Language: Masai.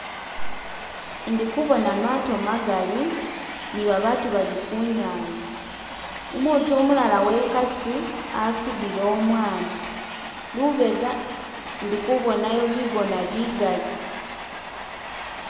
indikubona mato magali nibabatu bali kunyanza umutu umulala wekasi asudile umwana lubega ndikubonayo bigona bigali